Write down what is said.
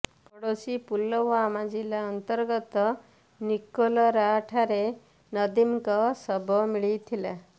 ପଡ଼ୋଶୀ ପୁଲଓ୍ବାମା ଜିଲ୍ଲା ଅନ୍ତର୍ଗତ ନିକଲୋରା ଠାରେ ନଦୀମଙ୍କ ଶବ ମିଳିଥିଲା